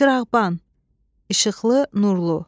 Çırağban, işıqlı, nurlu.